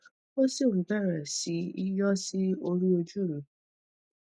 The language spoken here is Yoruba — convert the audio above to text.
ó sì ń bẹrẹ sí í yọ sí orí ojú mi